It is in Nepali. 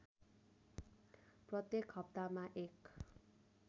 प्रत्येक हप्तामा १